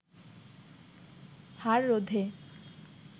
হার রোধে